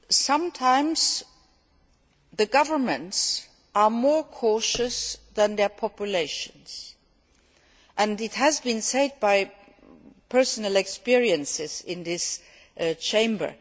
Sometimes, governments are more cautious than their populations, and this has been said from personal experience in this Chamber.